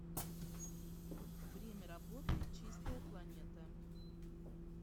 время работы чистая планета